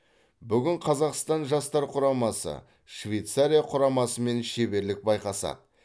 бүгін қазақстан жастар құрамасы швейцария құрамасымен шеберлік байқасады